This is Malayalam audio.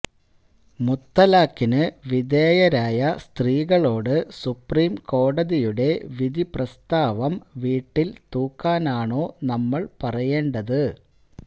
മുത്തലാഖിനു വിധേയരായ സ്ത്രീകളോട് സുപ്രീംകോടതിയുടെ വിധിപ്രസ്താവം വീട്ടില് തൂക്കാനാണോ നമ്മള് പറയേണ്ടത്